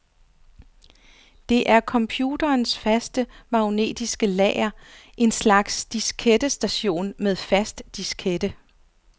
Det er computerens faste magnetiske lager, en slags diskettestation med fast diskette.